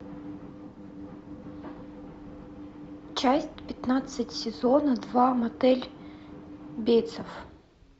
часть пятнадцать сезона два мотель бейтсов